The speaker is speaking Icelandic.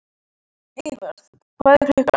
Eivör, hvað er klukkan?